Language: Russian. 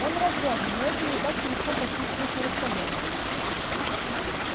он разряжен но это не так-то легко почувствовать на расстоянии